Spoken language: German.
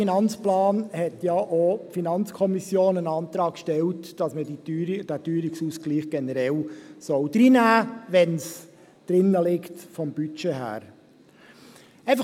Zum AFP hat die FiKo ja auch einen Antrag gestellt, dass man diesen Teuerungsausgleich reinnehmen soll, wenn es vom Budget her drin liegt.